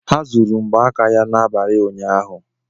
Ha zuru mgba aka ya n'abalị ụnyaahụ.